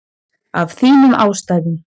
Af þínum ástæðum.